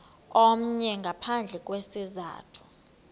omnye ngaphandle kwesizathu